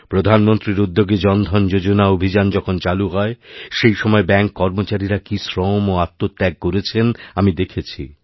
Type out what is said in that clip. প্রধানমন্ত্রীর উদ্যোগে জনধন যোজনা অভিযান যখন চালু হয় সেই সময় ব্যাঙ্ককর্মচারীরা কি শ্রম ও আত্মত্যাগ করেছেন আমি দেখেছি